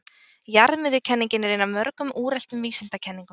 Jarðmiðjukenningin er ein af mörgum úreltum vísindakenningum.